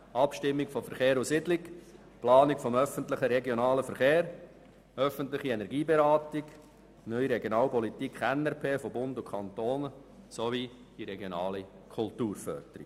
Abstimmung von Verkehr und Siedlung, Planung des öffentlichen regionalen Verkehrs, öffentliche Energieberatung, Neue Regionalpolitik (NRP) von Bund und Kantonen sowie regionale Kulturförderung.